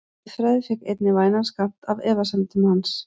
Guðfræði fékk einnig vænan skammt af efasemdum hans.